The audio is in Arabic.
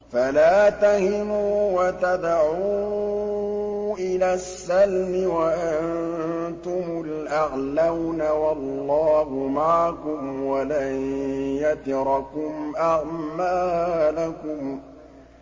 فَلَا تَهِنُوا وَتَدْعُوا إِلَى السَّلْمِ وَأَنتُمُ الْأَعْلَوْنَ وَاللَّهُ مَعَكُمْ وَلَن يَتِرَكُمْ أَعْمَالَكُمْ